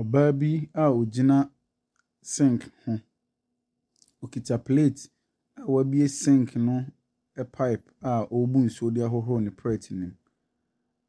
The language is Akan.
Ɔbaa bi a ɔgyina sink ho. Ɔkuta plate na wɛbue sink no pipe a ɔrebu nsuo de ahohoro ne plate mu.